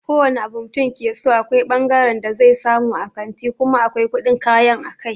Ko wane abu mutum yakeso akwai fangaren da zai samu a kanti kuma akwai kuɗin kayan a kai.